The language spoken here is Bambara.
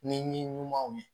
Ni ɲumanw ye